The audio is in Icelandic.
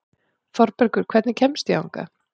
Þorbergur, hvernig kemst ég þangað?